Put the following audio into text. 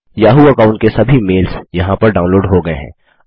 Yahoo account के सभी mails यहाँ पर डाउनलोड हो गये हैं